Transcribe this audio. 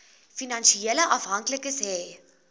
finansiële afhanklikes hê